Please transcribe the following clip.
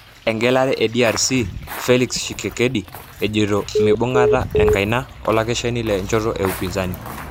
Engelare e DRC:Felix Tshisekedi ejoito meibungita enkaina olakeshani lenchoto e Upinzani.